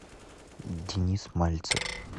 денис мальцев